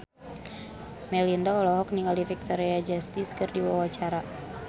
Melinda olohok ningali Victoria Justice keur diwawancara